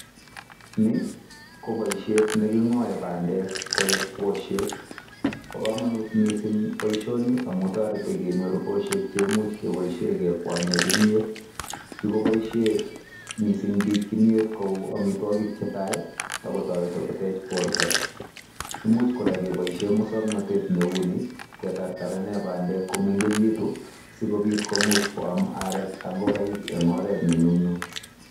Ni ko boisiiet ne king'oe bandek koik bushek. Bo komonut mising boiisioni amun toreti kenyor bushek che imuch keboishen kekwanyen kimiet. Kigoboisie mising kimyet kou amitwogik che tai ago toreti kotech borto. Imuch kora keboisien muswaknatet neu nii ketartarenen bandek komengegitu sikobit komuch koam arek ak ngokaik en oret ne nyumnyum.